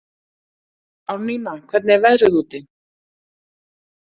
Árnína, hvernig er veðrið úti?